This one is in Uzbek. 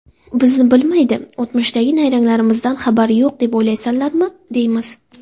Bizni bilmaydi, o‘tmishdagi nayranglarimizdan xabari yo‘q deb o‘ylaysanlarmi, deymiz.